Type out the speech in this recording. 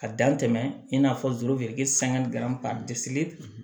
A dan tɛmɛn in n'a fɔ sanga ni garansi